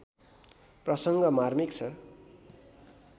प्रसङ्ग मार्मिक छ